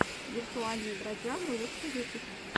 виртуальный бродяга лучший выпуск